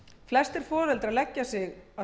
flestir foreldrar leggja sig